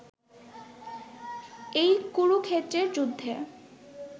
এই কুরুক্ষেত্রের যুদ্ধে